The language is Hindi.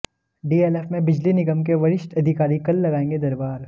डीएलएफ में बिजली निगम के वरिष्ठ अधिकारी कल लगाएंगे दरबार